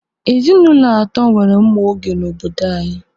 Ezinụlọ atọ nwere mma oge n'obodo anyị.